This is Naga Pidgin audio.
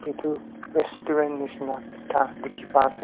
etu restaurant nishena ekta dikhi pai ase.